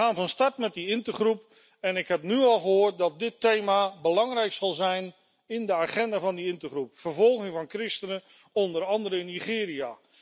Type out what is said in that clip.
Wij gaan van start met die intergroep en ik heb nu al gehoord dat dit thema belangrijk zal zijn op de agenda van die intergroep vervolging van christenen, onder andere in Nigeria.